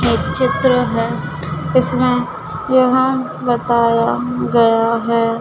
एक चित्र है इसमें यह बताया गया है।